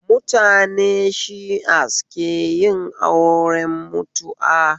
Mutane shias keyin auren mutu'a